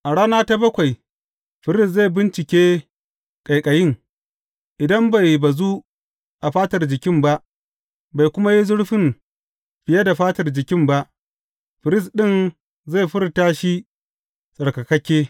A rana ta bakwai firist zai bincike ƙaiƙayin, idan bai bazu a fatar jikin ba, bai kuma yi zurfin fiye da fatar jikin ba, firist ɗin zai furta shi tsarkakakke.